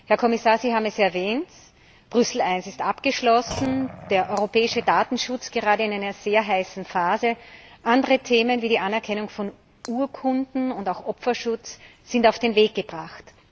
Herr Kommissar, Sie haben es erwähnt Brüssel 1 ist abgeschlossen, der europäische Datenschutz gerade in einer sehr heißen Phase, andere Themen wie die Anerkennung von Urkunden und auch Opferschutz sind auf den Weg gebracht.